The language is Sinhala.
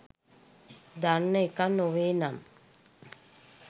දන්න එකක් නොවේනම්.